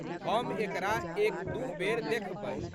हम एकरा एकदू बेर देखबै।